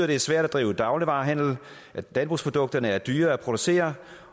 det er svært at drive dagligvarehandel at landbrugsprodukterne er dyrere at producere